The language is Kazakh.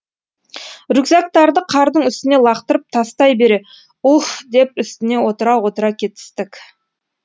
рюкзактарды қардың үстіне лақтырып тастай бере уһ деп үстіне отыра отыра кетістік